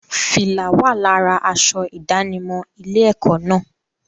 Fìlá wà lára aṣọ ìdánimọ̀ ilé-ẹ̀kọ́ náà.